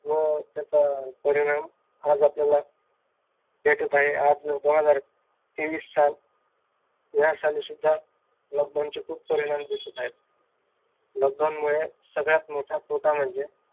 व त्याचा परिणाम आज आपल्याला भेटत आहे. आज आपल्याला दोन हजार तेवीस साल ह्या साली lockdown चे सुद्धा lockdown चे खूप परिणाम दिसत आहेत.